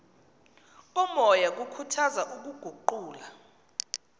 komoya kukhuthaza ukuguqula